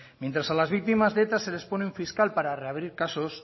mientras a las víctimas de eta se les pone un fiscal para reabrir casos